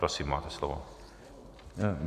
Prosím, máte slovo.